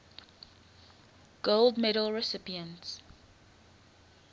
gold medal recipients